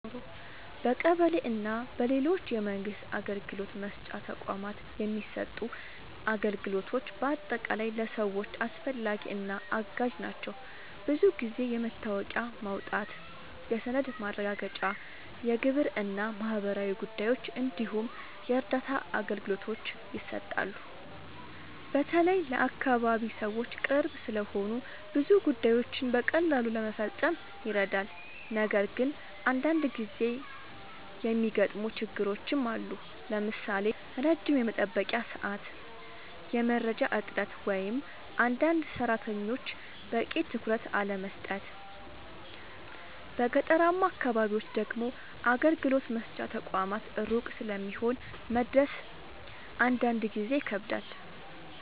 በቀበሌ እና በሌሎች የመንግስት አገልግሎት መስጫ ተቋማት የሚሰጡ አገልግሎቶች በአጠቃላይ ለሰዎች አስፈላጊ እና አጋዥ ናቸው። ብዙ ጊዜ የመታወቂያ ማውጣት፣ የሰነድ ማረጋገጫ፣ የግብር እና ማህበራዊ ጉዳዮች እንዲሁም የእርዳታ አገልግሎቶች ይሰጣሉ። በተለይ ለአካባቢ ሰዎች ቅርብ ስለሆኑ ብዙ ጉዳዮችን በቀላሉ ለመፈጸም ይረዳሉ። ነገር ግን አንዳንድ ጊዜ የሚገጥሙ ችግሮችም አሉ፣ ለምሳሌ ረጅም የመጠበቂያ ሰዓት፣ የመረጃ እጥረት ወይም አንዳንድ ሰራተኞች በቂ ትኩረት አለመስጠት። በገጠራማ አካባቢዎች ደግሞ አገልግሎት መስጫ ተቋማት ሩቅ ስለሚሆኑ መድረስ አንዳንድ ጊዜ ይከብዳል።